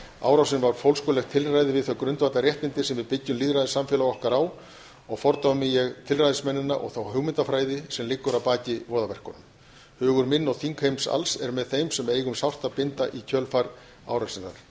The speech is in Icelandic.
árásin var fólskulegt tilræði við þau grundvallarréttindi sem við byggjum lýðræðissamfélög okkar á og fordæmi ég tilræðismennina og þá hugmyndafræði sem liggur að baki voðaverkunum hugur minn og þingheims alls er með þeim sem eiga um sárt að binda í kjölfar árásarinnar ég